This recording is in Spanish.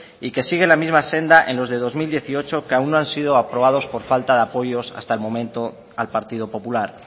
y que sigue la misma senda en los de dos mil dieciocho que aún no han sido aprobados por falta de apoyos hasta el momento al partido popular